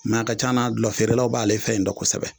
N'a ka can na dulɔfeerelaw b'ale fɛ in dɔ kosɛbɛ